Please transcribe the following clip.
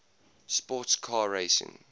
sports car racing